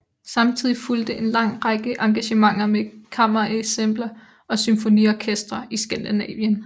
Samtidigt fulgte en lang række engagementer med kammerensembler og symfoniorkestre i skandinavien